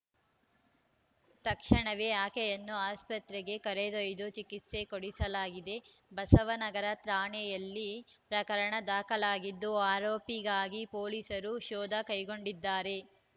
ತಕ್ಷಣವೇ ಆಕೆಯನ್ನು ಆಸ್ಪತ್ರೆಗೆ ಕರೆದೊಯ್ದು ಚಿಕಿತ್ಸೆ ಕೊಡಿಸಲಾಗಿದೆ ಬಸವ ನಗರ ಠಾಣೆಯಲ್ಲಿ ಪ್ರಕರಣ ದಾಖಲಾಗಿದ್ದು ಆರೋಪಿಗಾಗಿ ಪೊಲೀಸರು ಶೋಧ ಕೈಗೊಂಡಿದ್ದಾರೆ